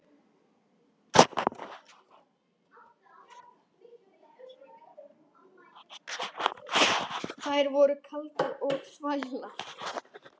Þær voru kaldar og þvalar.